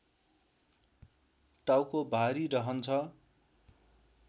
टाउको भारी रहन्छ